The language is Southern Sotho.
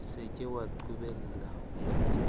se ke wa qobella molemi